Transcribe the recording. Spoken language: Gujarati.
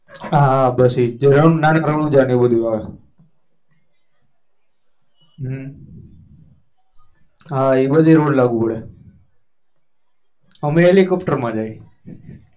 હા હા એ બસ એજ નાના રણુજા એવું બધું આવે હ એ બાળા રોડ લાગુ પડે helicopter માં જાય